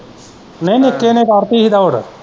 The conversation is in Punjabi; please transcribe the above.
ਨਹੀਂ ਨਿੱਕੇ ਨੇ ਕੱਢਤੀ ਹੀ ਦੌੜ।